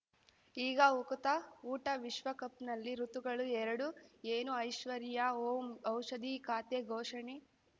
ಈಗ ಉಕುತ ಊಟ ವಿಶ್ವಕಪ್‌ನಲ್ಲಿ ಋತುಗಳು ಎರಡು ಏನು ಐಶ್ವರ್ಯಾ ಓಂ ಔಷಧಿ ಖಾತೆ ಘೋಷಣೆ